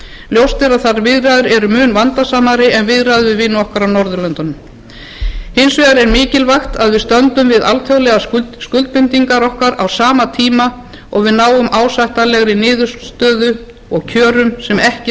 ljóst er að þær viðræður eru mun vandasamari en viðræður við nokkur af norðurlöndunum hins vegar er mikilvægt að við stöndum við alþjóðlegar skuldbindingar okkar á sama tíma og við náum ásættanlegri niðurstöðu og kjörum sem ekki